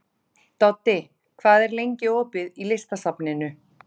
Doddi, hvað er lengi opið í Listasafninu?